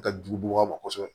Ka jugu buba ma kosɛbɛ